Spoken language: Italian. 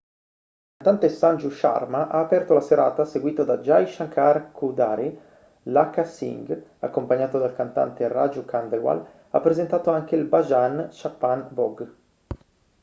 il cantante sanju sharma ha aperto la serata seguito da jai shankar choudhary lakkha singh accompagnato dal cantante raju khandelwal ha presentato anche il bhajan chhappan bhog